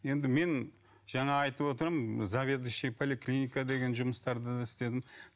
енді мен жаңағы айтып отырмын заведующий поликлиника деген жұмыстарды да істедім